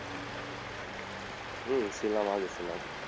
হম ছিলাম আগে ছিলাম,